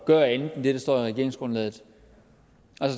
gøre andet end det der står i regeringsgrundlaget